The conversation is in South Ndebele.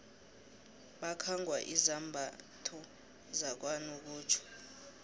bakhangwa izambatho zakanokutjho